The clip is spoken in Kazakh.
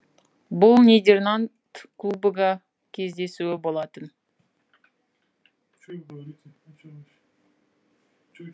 бұл нидерланд кубогы кездесуі болатын